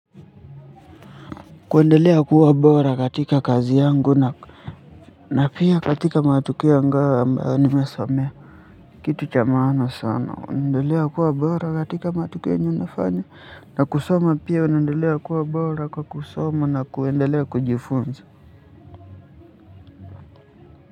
Kuendelea kuwa bora katika kazi yangu na na pia katika matukio ambayo nimesomea kitu cha maana sana unaendelea kuwa bora katika matukio unayoyafanya na kusoma pia unaendelea kuwa bora kwa kusoma na kujifunza.